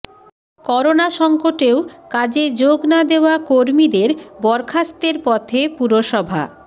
corona সঙ্কটেও কাজে যোগ না দেওয়া কর্মীদের বরখাস্তের পথে পুরসভা